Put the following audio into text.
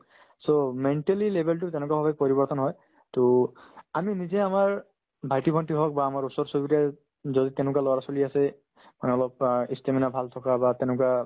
so, mentally level তো তেনেকুৱাভাবে পৰিবৰ্তন হয় to আমি নিজে আমাৰ ভাইটি-ভণ্টি হওক বা আমাৰ ওচৰ-চুবুৰীয়াই যদি তেনেকুৱা ল'ৰা-ছোৱালি আছে মানে অলপ ই stamina ভাল থকা বা তেনেকুৱা